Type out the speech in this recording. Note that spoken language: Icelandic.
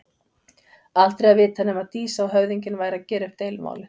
Aldrei að vita nema Dísa og höfðinginn væru að gera upp deilumálin.